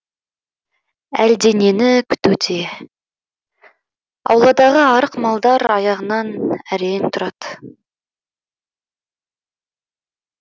әлденені күтуде ауладағы арық малдар аяғынан әрең тұрады